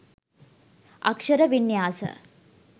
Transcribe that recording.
අක්ෂර වින්‍යාස